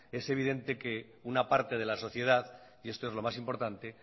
es evidente que una parte de la sociedad y esto es lo más importante